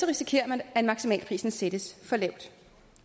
risikerer man at maksimalprisen sættes for lavt